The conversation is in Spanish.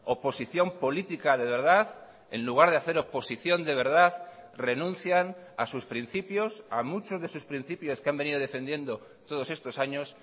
oposición política de verdad en lugar de hacer oposición de verdad renuncian a sus principios a muchos de sus principios que han venido defendiendo todos estos años